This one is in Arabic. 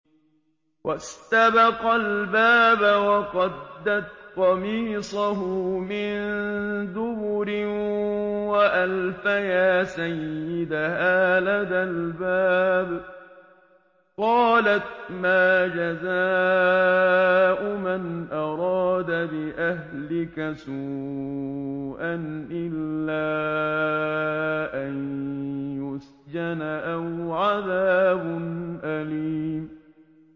وَاسْتَبَقَا الْبَابَ وَقَدَّتْ قَمِيصَهُ مِن دُبُرٍ وَأَلْفَيَا سَيِّدَهَا لَدَى الْبَابِ ۚ قَالَتْ مَا جَزَاءُ مَنْ أَرَادَ بِأَهْلِكَ سُوءًا إِلَّا أَن يُسْجَنَ أَوْ عَذَابٌ أَلِيمٌ